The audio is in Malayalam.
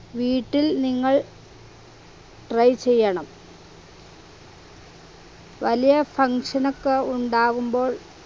വീട്ടിൽ നിങ്ങൾ try ചെയ്യണം വലിയ function ഒക്കെ ഉണ്ടാകുമ്പോൾ